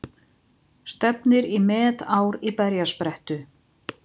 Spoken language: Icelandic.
Stefnir í metár í berjasprettu